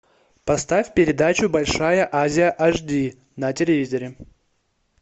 поставь передачу большая азия аш ди на телевизоре